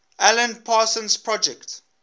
alan parsons project